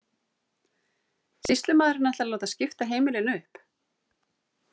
Sýslumaðurinn ætlar að láta skipta heimilinu upp.